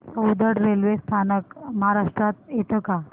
Soundad railway स्थानक महाराष्ट्रात येतं का